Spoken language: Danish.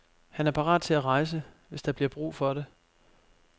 Han er parat til at rejse, hvis der bliver brug for det.